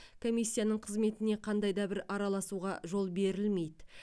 комиссияның қызметіне қандай да бір араласуға жол берілмейді